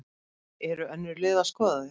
Eru önnur lið að skoða þig?